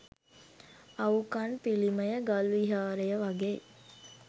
අවුකන් පිළිමය ගල් විහාරය වගේ